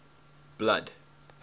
blood